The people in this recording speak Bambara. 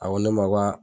A ko ne ma ko